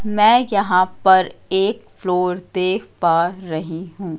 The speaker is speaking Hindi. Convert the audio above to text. मैं यहां पर एक फ्लोर देख पा रही हूं।